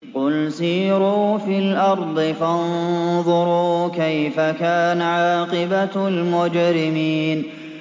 قُلْ سِيرُوا فِي الْأَرْضِ فَانظُرُوا كَيْفَ كَانَ عَاقِبَةُ الْمُجْرِمِينَ